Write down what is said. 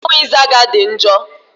Mmọnwụ ịzaga dị njọ.